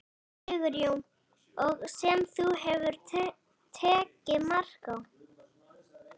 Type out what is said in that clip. Sigurjón: Og sem þú hefur tekið mark á?